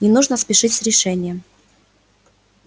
не нужно спешить с решением